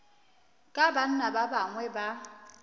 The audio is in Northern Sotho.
ka banna ba bangwe ba